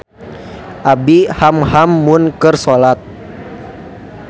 Abi hamham mun keur solat